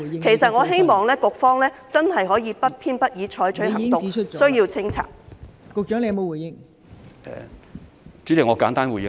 其實，我希望局方真的不偏不倚，對需要清拆的僭建物採取行動。